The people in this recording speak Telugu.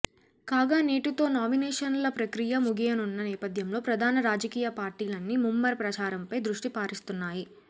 కాగా నేటితో నామినేషన్ల ప్రక్రియ ముగియనున్న నేపథ్యంలో ప్రధాన రాజకీయ పార్టీలన్నీ ముమ్మర ప్రచారంపై దృష్టి సారిస్తున్నాయి